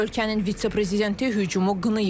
Ölkənin vitse-prezidenti hücumu qınayıb.